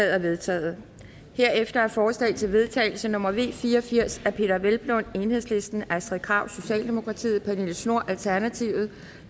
er vedtaget herefter er forslag til vedtagelse nummer v fire og firs af peder hvelplund astrid krag pernille schnoor